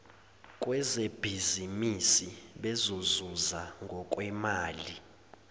kwezebhizimisi bezozuza ngokwemali